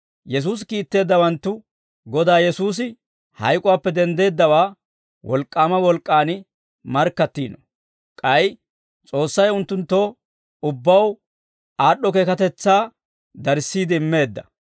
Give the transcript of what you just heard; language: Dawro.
Yesuusi kiitteeddawanttu Godaa Yesuusi hayk'uwaappe denddeeddawaa wolk'k'aama wolk'k'aan markkattiino; k'ay S'oossay unttunttoo ubbaw aad'd'o keekatetsaa darissiide immeedda.